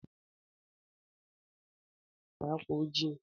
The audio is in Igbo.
Ndị ọkàiwu na eyi akwa ọcha na ákwà ojii